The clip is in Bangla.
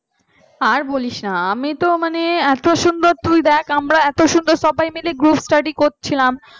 আর বলিস না আমি তো মানে এত সুন্দর তুই দেখ আমরা এত সুন্দর সবাই মিলে group study করছিলাম।